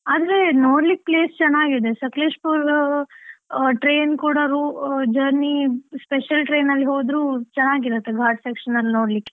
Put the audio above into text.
ಆದ್ರೆ ನೊಡ್ಲಿಕ್ಕೆ place ಚೆನ್ನಾಗಿದೆ, ಸಕ್ಲೇಶಪುರ್ train ಕೂಡ journey special train ಅಲ್ಲಿ ಹೋದ್ರು, ಚೆನ್ನಾಗಿರತ್ತೆ ಘಾಟ್ section ಅಲ್ಲಿ ನೋಡ್ಲಿಕ್ಕೆ.